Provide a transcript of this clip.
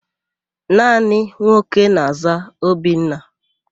Naanị nwoke na-àzá Obinna.